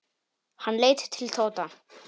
Hann leit til Tóta.